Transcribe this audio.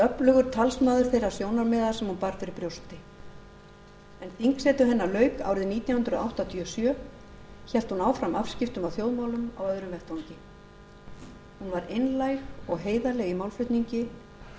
öflugur talsmaður þeirra sjónarmiða sem hún bar fyrir brjósti en þingsetu hennar lauk árið nítján hundruð áttatíu og sjö hélt hún áfram afskiptum af þjóðmálum á öðrum vettvangi hún var einlæg og heiðarleg í málflutningi og